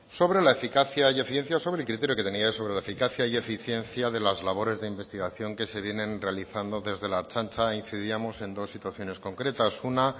sobre la eficacia y eficiencia sobre el criterio que tenía sobre la eficacia y eficiencia de las labores de investigación que se vienen realizando desde la ertzaintza incidíamos en dos situaciones concretas una